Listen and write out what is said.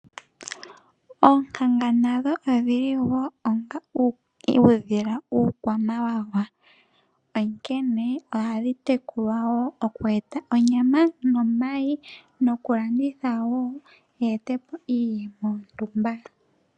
Oonkanga nadho odhili wo onga uudhila uukwamawawa. onkene ohadhi tekulwa wo oku eta onyama ,omayi noku landithwa wo dhi ete po iiyemo yo ntumba.